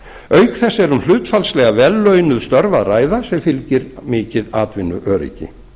auk þess er um hlutfallslega vel launuð störf að ræða sem fylgir mikið atvinnuöryggi